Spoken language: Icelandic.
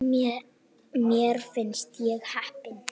Mér finnst ég heppin.